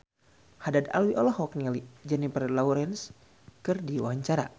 Haddad Alwi olohok ningali Jennifer Lawrence keur diwawancara